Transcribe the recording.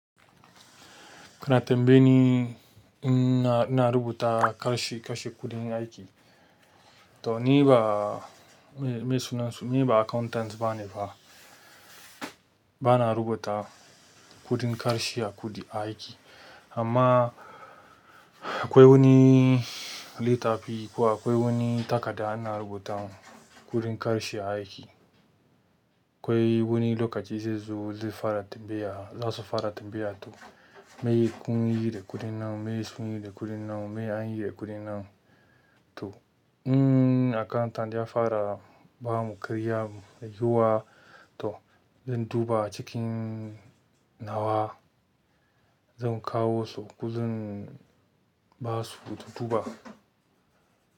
Kuna tambaye ni ina, ina rubuta kashe, kashe kuɗin aiki. To ni ba, me, me sunansu, ni ba accountant bane ba. Ba na rubuta kuɗin kashe a kuɗi, aiki. Amma akwai wani littafi kuwa akwai wani takarda ana rubuta kuɗin ƙarshe aiki. Akwai wani lokaci zai zo zai fara tambaya, za su fara tambaya to me kun yi da kuɗin nan? Me sun yi da kuɗin nan? Me an yi da kuɗin nan? To, um, accountant ya fara ba mu ƙarya mu yi wa to zan duba cikin nawa zan kawo su ko zan ba su su duba.